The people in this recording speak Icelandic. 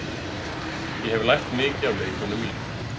Ég hef lært mikið af leikmönnunum mínum.